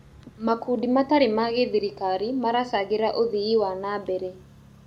Makundi matarĩ ma gĩthirikari maracangĩra ũthii wa na mbere.